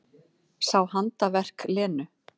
Sá handaverk Lenu.